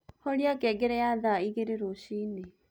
horĩa ngengere ya thaaĩgĩrĩ rũcĩĩnĩ